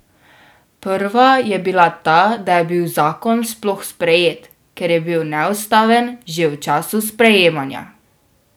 Prva je bila ta, da je bil zakon sploh sprejet, ker je bil neustaven že v času sprejemanja.